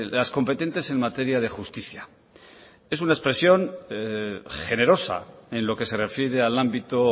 las competentes en materia de justicia es una expresión generosa en lo que se refiere al ámbito